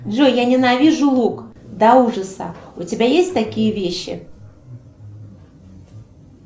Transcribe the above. джой я ненавижу лук до ужаса у тебя есть такие вещи